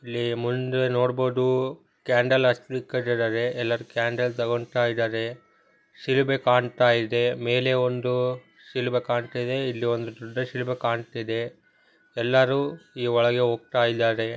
ಇಲ್ಲಿ ಮುಂದೆ ನೋಡ್ಬೋದು ಕ್ಯಾಂಡಲ್ ಅಚ್ಛ್ಲಿಕ್ಕ್ ಅತ್ತಿದರೆ ಎಲ್ಲರ್ ಕ್ಯಾಂಡಲ್ ತೊಗಂದ್ತಯಿದರೆ ಸಿರಿಬೆ ಕಾನ್ತಯಿದೆ ಮೇಲೆ ಒಂದು ಸಿಲ್ಬೆ ಕಾಣ್ತದೆ ಇಲ್ಲಿ ಒಂದು ದೊಡ್ಡ್ ಸಿಲಬೇ ಕಾಣ್ತದೆ ಎಲ್ಲರೂ ಈ ಒಳೆಗೆ ಓಗ್ತಾಯಿದಾರೆ.